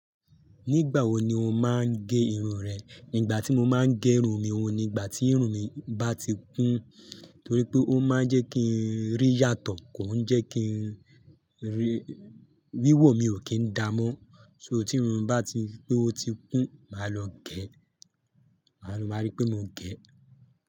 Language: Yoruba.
Nígbà wo ni o máa ń gẹ irun rẹ? Ígbà tí mo máa ń gẹ irun mi, òun ni ìgbà tí irun mi bá ti kún, torí pé ó máa ń jẹ́ kí n rí yàtọ̀, kò ń jẹ́ kí n rí, wíwò mi ò kí ń da mọ́. So tí irun bá ti pé ó ti kún, màá lọ gẹ. Àlù má rí pé mo gẹ.